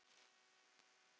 Harður er lífsins skóli.